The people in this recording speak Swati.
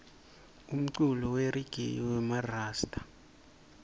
umculo weregayi wemarasta